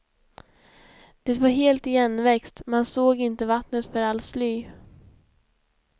Det var helt igenväxt, man såg inte vattnet för allt sly.